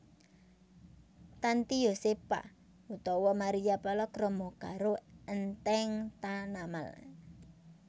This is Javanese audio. Tanty Yosepha utawa Maria palakrama karo Enteng Tanamal